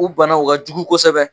O bana o ka jugu kosɛbɛ